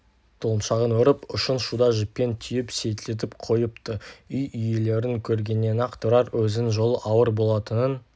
тұлымшағын өріп ұшын шуда жіппен түйіп селтитіп қойыпты үй иелерін көргеннен-ақ тұрар өзінің жолы ауыр болатынын